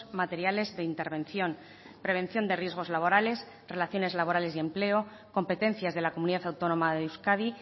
materiales de intervención prevención de riesgos laborales relaciones laborales y empleo competencias de la comunidad autónoma de euskadi